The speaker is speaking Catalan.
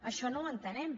això no ho entenem